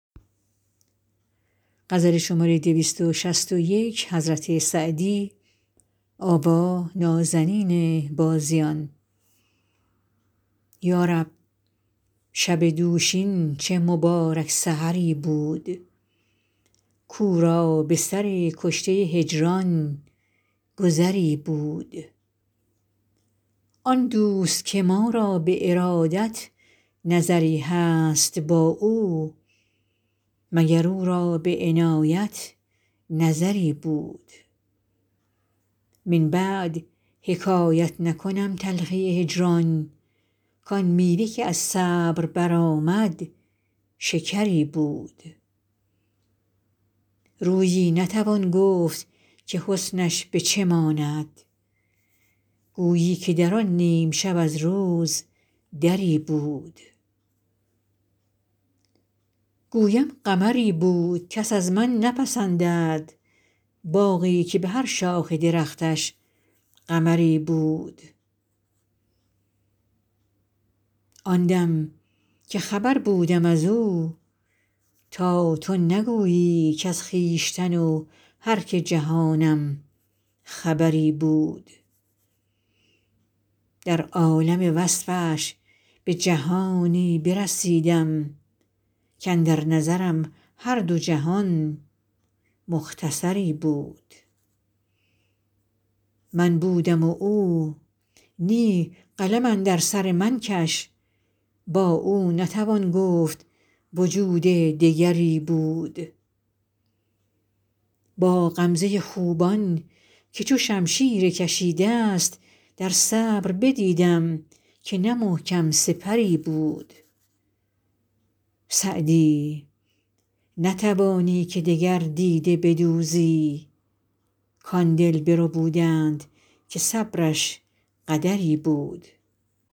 یا رب شب دوشین چه مبارک سحری بود کاو را به سر کشته هجران گذری بود آن دوست که ما را به ارادت نظری هست با او مگر او را به عنایت نظری بود من بعد حکایت نکنم تلخی هجران کآن میوه که از صبر برآمد شکری بود رویی نتوان گفت که حسنش به چه ماند گویی که در آن نیم شب از روز دری بود گویم قمری بود کس از من نپسندد باغی که به هر شاخ درختش قمری بود آن دم که خبر بودم از او تا تو نگویی کز خویشتن و هر که جهانم خبری بود در عالم وصفش به جهانی برسیدم کاندر نظرم هر دو جهان مختصری بود من بودم و او نی قلم اندر سر من کش با او نتوان گفت وجود دگری بود با غمزه خوبان که چو شمشیر کشیده ست در صبر بدیدم که نه محکم سپری بود سعدی نتوانی که دگر دیده بدوزی کآن دل بربودند که صبرش قدری بود